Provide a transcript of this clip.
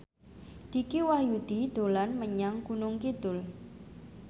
Dicky Wahyudi dolan menyang Gunung Kidul